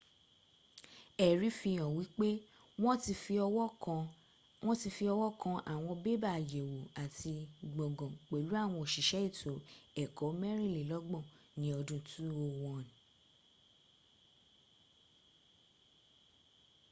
ẹ̀rí fi hàn wípé wọn ti fi ọwọ́ kan àwọn bébà àyẹ̀wò àti gbọǹgàn pẹ̀lú àwọn òṣìṣẹ́ ètò ẹ̀kọ́ mẹ́rìnlelọ́gbọ̀n ní ọdún 201